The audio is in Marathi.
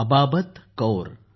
अबाबत कौर